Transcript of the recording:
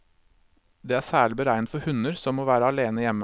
Det er særlig beregnet for hunder som må være alene hjemme.